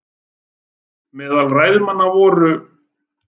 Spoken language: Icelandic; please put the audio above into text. Meðal ræðumanna voru